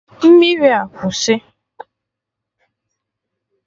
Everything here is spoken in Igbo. Mmiri a kwụsị!